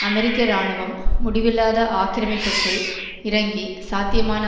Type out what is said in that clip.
அமெரிக்க இராணுவம் முடிவில்லாத ஆக்கிரமிப்புக்குள் இறங்கி சாத்தியமான